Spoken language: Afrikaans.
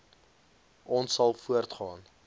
ons sal voortgaan